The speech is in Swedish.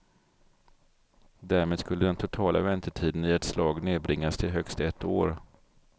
Därmed skulle den totala väntetiden i ett slag nedbringas till högst ett år.